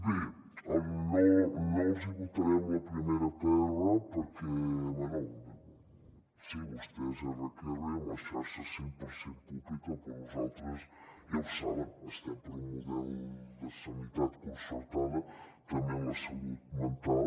bé no els hi votarem la primera pr perquè bé sí vostès erre que erre amb la xarxa cent per cent pública però nosaltres ja ho saben estem per un model de sanitat concertada també en la salut mental